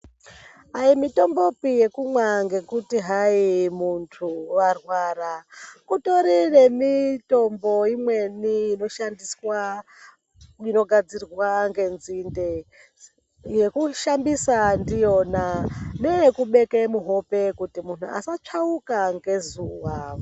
Ayipi mitombopi yekumwa ngekuti hayi muntu warwara. Kutori nemitombo imweni inoshandiswa inogadzirwa ngenzinde yekushandisa ndiyona neyekubeke muhope kuti muntu asatsvauka ngezuva.